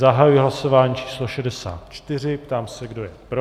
Zahajuji hlasování číslo 64, ptám se, kdo je pro.